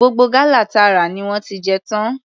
Gbogbo gálà ta rà ni wọ́n ti jẹ tán.